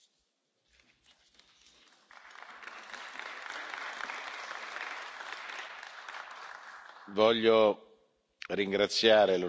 Voglio ringraziare l'onorevole Kelam che è stato per tanti anni un parlamentare esemplare.